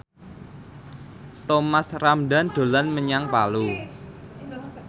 Thomas Ramdhan dolan menyang Palu